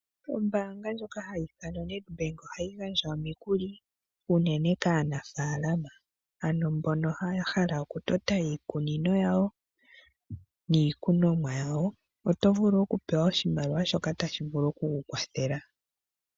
Ombanga ndjoka hayi ithanwa Nedbank ohayi gandja omikuli , uunene kaanafalama , ano mbono haya hala okutota iikunino yawo nikunomwa yawo otovulu oku pewa oshimaliwa shoka tashi vulu okuku wathela